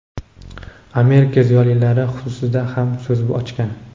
Amerika ziyolilari xususida ham so‘z ochgan.